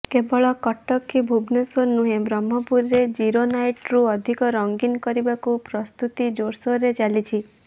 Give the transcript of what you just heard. କେବଳ କଟକ କି ଭୁବନେଶ୍ୱର ନୁହେଁ ବ୍ରହ୍ମପୁରରେ ଜିରୋ ନାଇଟ୍କୁ ଅଧିକ ରଙ୍ଗୀନ କରିବାକୁ ପ୍ରସ୍ତୁତି ଜୋରସୋରରେ ଚାଲିଛି